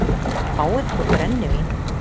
Fáið ykkur brennivín!